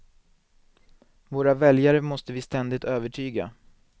Våra väljare måste vi ständigt övertyga.